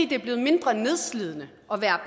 det er blevet mindre nedslidende at være